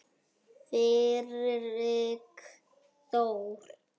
Friðrik Þór.